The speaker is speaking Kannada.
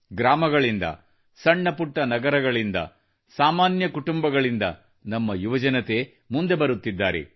ಗ್ರಾಮಗಳಿಂದ ಸಣ್ಣ ಪುಟ್ಟ ನಗರಗಳಿಂದ ಸಾಮಾನ್ಯ ಕುಟುಂಬಗಳಿಂದ ನಮ್ಮ ಯುವಜನತೆ ಮುಂದೆ ಬರುತ್ತಿದ್ದಾರೆ